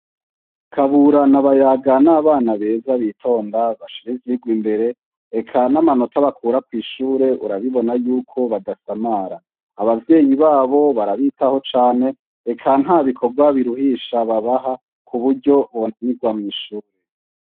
Kaburana na Bayaga n'abana beza bitonda bashira ivyirwa imbere eka n'amanota bakura kw'ishure urabibona yuko badasamara abavyeyi babo barabitaho cane eka ntabikorwa biruhisha babaha ku buryo bonanirwa mw'ishuri.